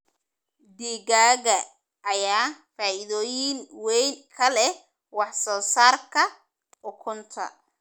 Digaagga ayaa faa'iidooyin weyn ka leh wax soo saarka ukunta.